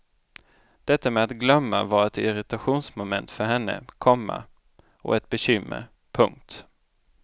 Detta med att glömma var ett irritationsmoment för henne, komma och ett bekymmer. punkt